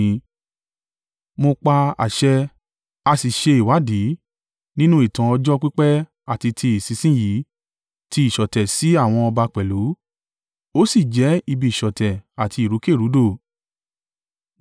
Mo pa àṣẹ, a sì ṣe ìwádìí, nínú ìtàn ọjọ́ pípẹ́ àti ti ìsinsin yìí ti ìṣọ̀tẹ̀ sí àwọn ọba pẹ̀lú, ó sì jẹ́ ibi ìṣọ̀tẹ̀ àti ìrúkèrúdò.